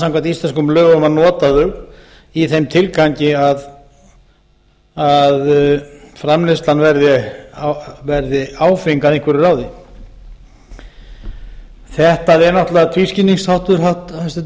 samkvæmt íslenskum lögum að nota þau í þeim tilgangi að framleiðslan verði áfeng að einhverju ráði þetta er náttúrlega tvískinnungsháttur hæstvirtur forseti og